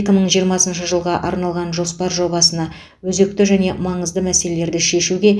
екі мың жиырмасыншы жылға арналған жоспар жобасына өзекті және маңызды мәселелерді шешуге